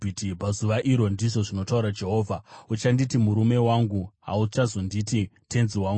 “Pazuva iro,” ndizvo zvinotaura Jehovha, “Uchanditi ‘murume wangu;’ hauchazonditi ‘tenzi wangu.’